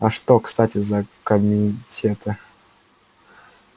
а что кстати это за комитеты